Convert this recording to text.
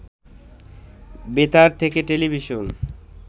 বেতার থেকে টেলিভিশন